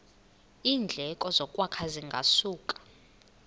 iindleko zokwakha zingasuka